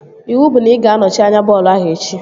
Iwu bụ na ị ga anọchi anya bọọlụ ahụ echi!